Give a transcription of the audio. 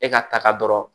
E ka taga dɔrɔn